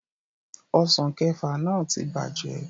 Ọsàn kẹẹ̀fà náà ti bàjẹ́